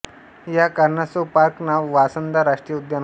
या कारणास्तव पार्क नाव वांसदा राष्ट्रीय उद्यान होते